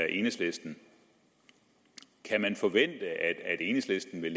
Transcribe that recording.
enhedslisten kan man forvente at enhedslisten vil